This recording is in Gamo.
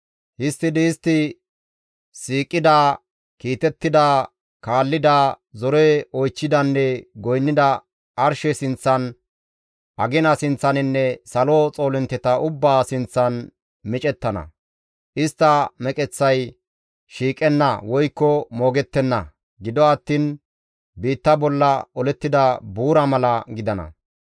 Histtidi istti siiqida, kiitettida, kaallida, zore oychchidanne goynnida arshe sinththan, agina sinththaninne salo xoolintteta ubbaa sinththan micettana. Istta meqeththay shiiqenna woykko moogettenna; gido attiin biitta bolla olettida buura mala gidana.